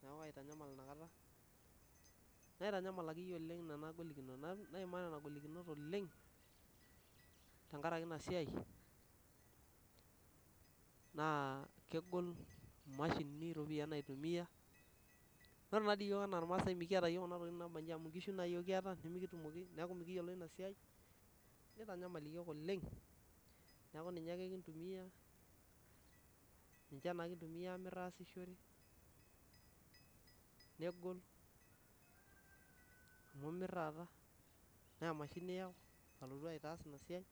pih niaku kaitanyamal naitanyamal akeyie oleng' nena golikinot, naimaa nena golikinot oleng' tenkaraki ina siai naa kegol imashinini iropiyiani naitumia Ore naa yiok ena ilmaasai mekiata yiok ntokiting naaba nchi amu ngishu naa yiok kiata nemekitumoki amu mekiyiolo ina siai niyanyamal iyiok oleng' niaku ninye ake kintumia amir aasishore negol amu imir taata neemashini iyau alotu aitaas ina siai